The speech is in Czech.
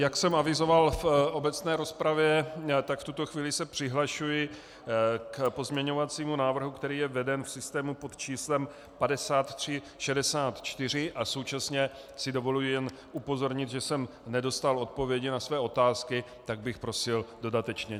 Jak jsem avizoval v obecné rozpravě, tak v tuto chvíli se přihlašuji k pozměňovacímu návrhu, který je veden v systému pod číslem 5364, a současně si dovoluji jen upozornit, že jsem nedostal odpovědi na své otázky, tak bych prosil dodatečně.